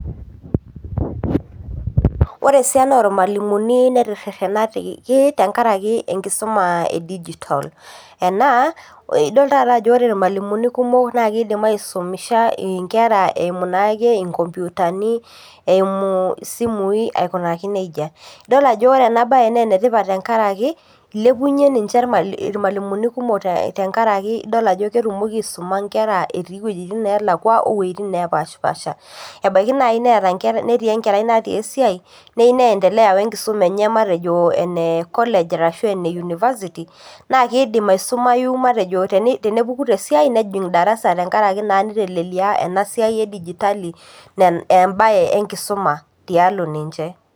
Ore esiana ormalimuni neteterenate tenkaraki enkusuma e digital enaa idol taata ajo ore irmalimulini kumok nakidim aisumisha nkerai eimu naake nkomputani eimu simui aikunaki nejia, idol ajo ore enabae na enetipat tenkaraki ilepunye nche rmalimuni kumok te enkaraki idol ajo ketumoki aisuma nkera etii wuejitin nalakwa ashu wueitin napaasha ebaki nai netii enkerai natii esiai neyieu niendelea enkisuma enye matejo ene college ashu university nedim aendelea aisumai ashu matejo tenepuku tesiai nejing darasa tenkaraki intelelikia ena siai e digitali embae enkisuma tialo ninche.